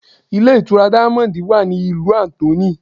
Ilé ìtura diamond wa ní ìlú Anthony.